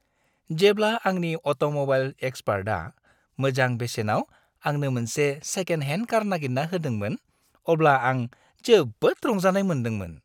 जेब्ला आंनि अट'म'बाइल एक्सपार्टआ मोजां बेसेनाव आंनो मोनसे सेकेन्ड हेन्ड कार नागिरना होदोंमोन अब्ला आं जोबोद रंजानाय मोनदोंमोन।